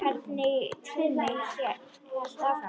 Hvernig tíminn hélt áfram.